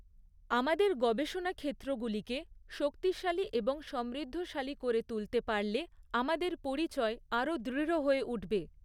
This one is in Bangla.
আমাদের গবেষণা ক্ষেত্রগুলিকে শক্তিশালী এবং সমৃদ্ধশালী করে তুলতে পারলে আমাদের পরিচয় আরও দৃঢ় হয়ে উঠবে।